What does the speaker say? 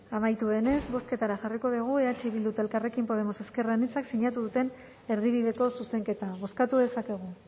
amaitu denez bozketara jarriko dugu eh bilduk eta elkarrekin podemos ezker anitzak sinatu duten erdibideko zuzenketa bozkatu dezakegu